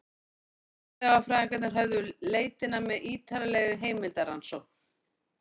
Fornleifafræðingarnir hófu leitina með ýtarlegri heimildarannsókn.